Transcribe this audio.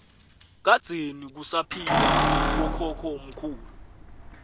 kadzeni kusaphila bokhokho mkhulu